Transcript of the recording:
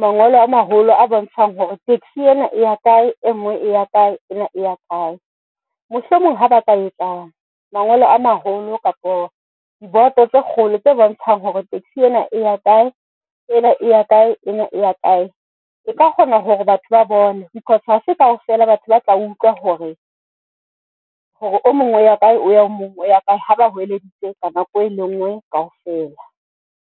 mangolo a maholo a bontshang hore taxi ena e ya kae e ngwe e ya kae ena e ya kae. Mohlomong ha ba ka etsa mangolo a maholo kapo diboto tse kgolo tse bontshang hore taxi ena e ya kae ena ya kae ya kae e ka kgona hore batho ba bone because hase kaofela batho ba tla utlwa hore o mong o ya kae o mong o ya kae ha ba holeditse ka nako e lengwe kaofela.